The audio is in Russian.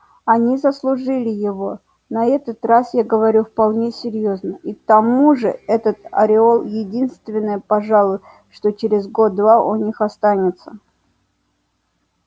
они заслужили его на этот раз я говорю вполне серьёзно и к тому же этот ореол единственное пожалуй что через год-два у них останется